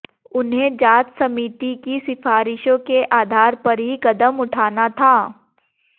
उन्हें जांच समिति की सिफारिशाें के आधार पर ही कदम उठाना था